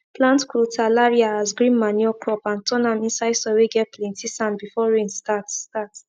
plant crotalaria as green manure crop and turn am inside soil whey get plenty sand before rain start start